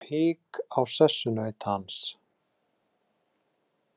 Það kom hik á sessunaut hans.